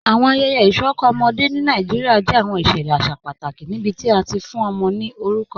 Awọn ayẹyẹ isọkọ ọmọde ni Nàìjíríà jẹ awọn iṣẹlẹ aṣa pátàkì níbití a ti fún ọmọ ni orúkọ.